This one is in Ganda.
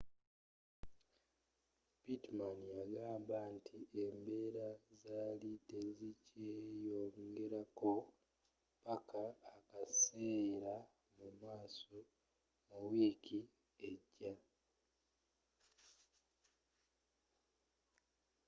pittman yagamba nti embeera zaali tezikyeeyongerako paka akaseera mumaaso mu wiiki ejja